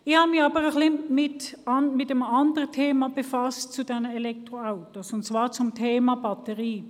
Ich habe mich aber mit einem anderen Thema betreffend diese Elektroautos beschäftigt, und zwar mit dem Thema der Batterie.